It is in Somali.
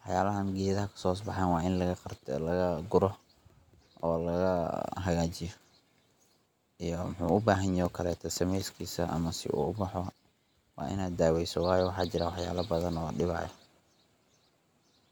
wax yabahan geedaha kasohosbahayo wa in lagagardeya, lagaguro, oo laga hagajiyo, iyo wuxu ubajnyahay o kale sameskisa ama si uu boho wa inad daweyso wayo waxa jiraan waxyabo badan oo diwayo.